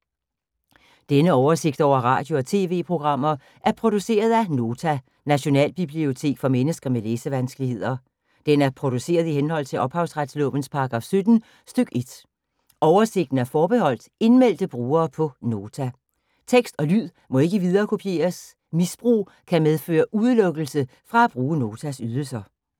Denne oversigt over radio og TV-programmer er produceret af Nota, Nationalbibliotek for mennesker med læsevanskeligheder. Den er produceret i henhold til ophavsretslovens paragraf 17 stk. 1. Oversigten er forbeholdt indmeldte brugere på Nota. Tekst og lyd må ikke viderekopieres. Misbrug kan medføre udelukkelse fra at bruge Notas ydelser.